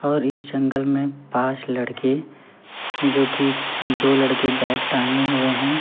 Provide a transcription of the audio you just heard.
और इस जंगल में पांच लड़के जो कि दो लड़के बैग टांगे हुए हैं।